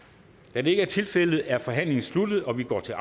da det ikke er tilfældet er forhandlingen sluttet og vi går til